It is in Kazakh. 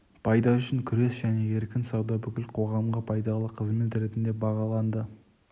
пайда үшін күрес және еркін сауда бүкіл қоғамға пайдалы қызмет ретінде бағаланды